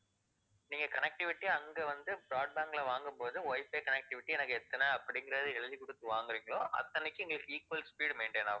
நீங்க connectivity அங்க வந்து broadband ல வாங்கும் போது wifi connectivity எனக்கு எத்தனை அப்படின்றதை எழுதிக் குடுத்து வாங்கறீங்களோ அத்தனைக்கும் உங்களுக்கு equal speed maintain ஆகும்.